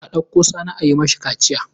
A ɗauko Sani a yi masa kaciya.